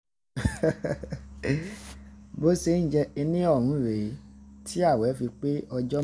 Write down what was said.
bó se ń jẹ rèé tí ààwẹ̀ fi pé ọjọ́